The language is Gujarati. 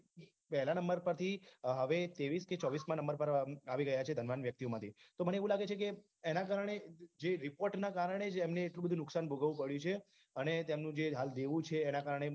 પેહલાં નંબર પરથી તેવીસ કે ચોવીસમાં નંબર પર આવી રહ્યા છે ધનવાન વ્યક્તિઓ માંથી કે મને એવું લાગે છે એના કારણે જે report ના કારણે જ એમને એટલું બધું નુકસાન ભોગવવું પડ્યું છે અને એ તેમનું જે હાલ દેવું છે એના કારણે